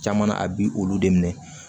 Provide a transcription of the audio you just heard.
Caman na a bi olu de minɛ